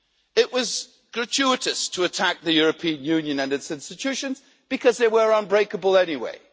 It was gratuitous to attack the European Union and its institutions, because they were unbreakable anyway.